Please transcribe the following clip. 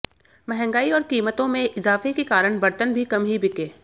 महंगाई और कीमतों में इजाफे के कारण बर्तन भी कम ही बिके